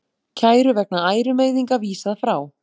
Kæru vegna ærumeiðinga vísað frá